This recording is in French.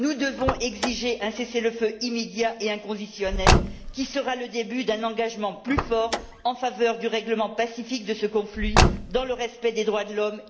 Nous devons exiger un cessez le feu immédiat et inconditionnel, qui sera le début d'un engagement plus fort en faveur du règlement pacifique de ce conflit, dans le respect des droits de l'homme et des identités culturelles.